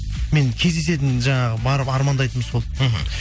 мен кездесетін жаңағы барып армандайтыным сол мхм